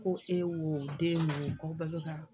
Ko e wo den o k'aw bɛɛ bɛ kaa